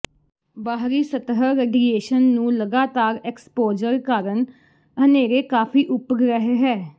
ਬਾਹਰੀ ਸਤਹ ਰੇਡੀਏਸ਼ਨ ਨੂੰ ਲਗਾਤਾਰ ਐਕਸਪੋਜਰ ਕਾਰਨ ਹਨੇਰੇ ਕਾਫ਼ੀ ਉਪਗ੍ਰਹਿ ਹੈ